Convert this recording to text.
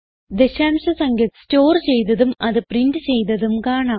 ദശാംശ സംഖ്യ സ്റ്റോർ ചെയ്തതും അത് പ്രിന്റ് ചെയ്തതും കാണാം